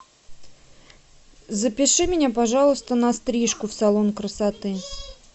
запиши меня пожалуйста на стрижку в салон красоты